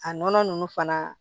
A nɔnɔ ninnu fana